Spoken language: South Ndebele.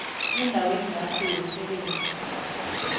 endaweni yakho yomsebenzi